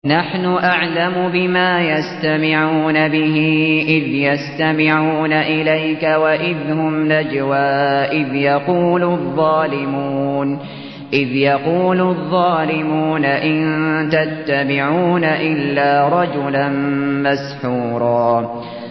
نَّحْنُ أَعْلَمُ بِمَا يَسْتَمِعُونَ بِهِ إِذْ يَسْتَمِعُونَ إِلَيْكَ وَإِذْ هُمْ نَجْوَىٰ إِذْ يَقُولُ الظَّالِمُونَ إِن تَتَّبِعُونَ إِلَّا رَجُلًا مَّسْحُورًا